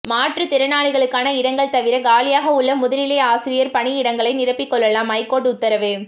மாற்றுத்திறனாளிகளுக்கான இடங்கள் தவிர காலியாக உள்ள முதுநிலை ஆசிரியர் பணியிடங்களை நிரப்பிக்கொள்ளலாம் ஐகோர்ட்டு உத்தரவு